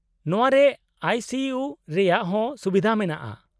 -ᱱᱚᱶᱟ ᱨᱮ ᱟᱭᱹ ᱥᱤᱹ ᱤᱭᱩ ᱨᱮᱭᱟᱜ ᱦᱚᱸ ᱥᱩᱵᱤᱫᱷᱟ ᱢᱮᱱᱟᱜᱼᱟ ᱾